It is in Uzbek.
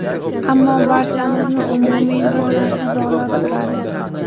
Ammo, barchamizni umumiy bir narsa bog‘lab turadi.